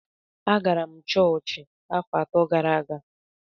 Agara m chọọchị afọ atọ gara aga